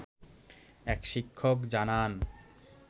এক শিক্ষক জানান